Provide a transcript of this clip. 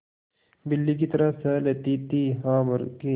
बिल्ली की तरह सह लेती थीहा मूर्खे